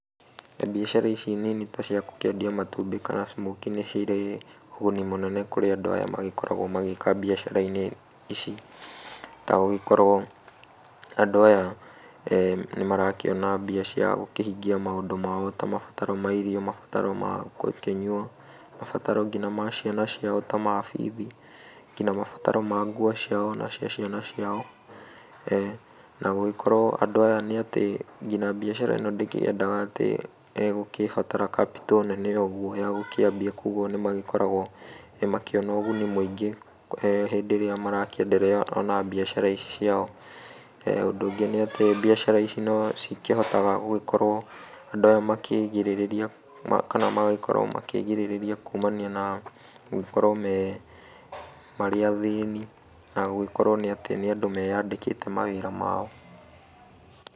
Mbiacara ici nini ta ciagũkĩendia matumbĩ kana smokie, nĩ cirĩ ũguni mũnene kũrĩ andũ aya makoragwo magĩka mbiacara-inĩ ici, tagũgĩkorwo andũ aya eeh nĩ marakĩona mbia cia gũkĩhingia maũndũ mao ta mabataro ma irio, mabataro ma gũkĩnyua, mabararo nginya ma ciana ciao ta ma bithi, nginya mabataro ma nguo ciao na cia ciana ciao, na gũgĩkorwa andũ aya nĩ atĩ nginya mbiacara ĩno ndĩkĩendaga atĩ egũkĩbata capital nene ũguo ya gũkĩambia koguo nĩ magĩkoragwo makĩona ũguni mũingĩ eeh hĩndĩ ĩrĩa marakĩenderea ona mbiacara ici ciao, ũndũ ũngĩ nĩ atĩ mbiacara ici no cikĩhotaga gũgĩkorwo andũ aya makĩrigĩrĩria kana magagĩkorwo makĩrigĩrĩria kumania na gũkorwo me, marĩ athĩni na gũgĩkorwo atĩ nĩ andũ meyandĩkĩte mawĩra mao.